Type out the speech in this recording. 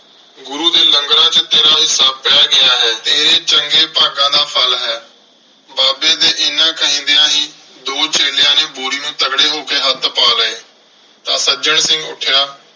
ਗੁਰੂ ਦੇ ਲੰਗਰਾਂ ਚ ਤੇਰਾ ਹਿੱਸਾ ਪੈ ਗਿਆ ਹੈ। ਤੇਰੇ ਚੰਗੇ ਭਾਗਾਂ ਦਾ ਫ਼ਲ ਹੈ। ਬਾਬੇ ਦੇ ਐਨਾ ਕਹਿੰਦਿਆਂ ਹੀ ਦੋ ਚੇਲਿਆਂ ਨੇ ਬੋਰੀ ਨੂੰ ਤਗੜੇ ਹੋ ਕੇ ਹੱਥ ਲਾ ਲਏ। ਤਾਂ ਸੱਜਣ ਸਿੰਘ ਉੱਠਿਆ।